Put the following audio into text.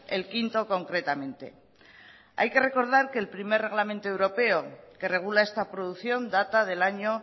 el quinto concretamente hay que recordar que el primer reglamento europeo que regula esta producción data del año